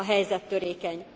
A helyzet törékeny.